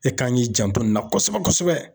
E kan k'i janto nin na kosɛbɛ kosɛbɛ.